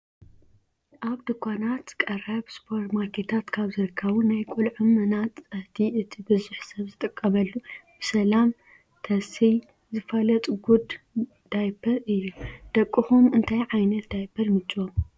ኣብ ድኳናት ኣቀብ ስፖርማኬታት ካብ ዝርከቡ ናይ ቆልዑ መናፃህቲ እቲ ብዙሕ ሰብ ዝጥቀመሉ ብሰላም ተስይ ዝፋለጥ ጉድ ዳይፐር እዩ። ደቁኩም እታይ ዓይነታ ዳይፐር ይምችዎም?